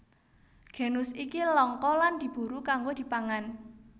Genus iki langka lan diburu kanggo dipangan